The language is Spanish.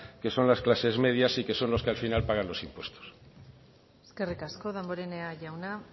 que son las clases medias y que son los que al final pagan los impuestos eskerrik asko damborenea jauna